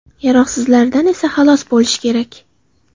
Yaroqsizlaridan esa xalos bo‘lish kerak.